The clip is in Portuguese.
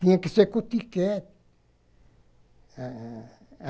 Tinha que ser com tíquete. Ah...